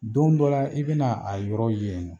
Don dɔ la i be na a yɔrɔ ye yen nɔ